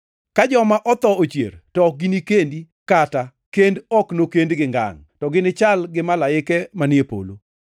Ka joma otho ochier to ok ginikendi kata kend ok nokendgi ngangʼ, to ginichal gi malaike manie polo.